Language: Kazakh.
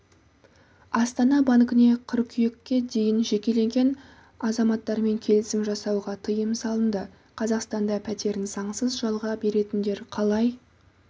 астана банкіне қыркүйекке дейін жекелеген азаматтармен келісім жасауға тыйым салынды қазақстанда пәтерін заңсыз жалға беретіндер қалай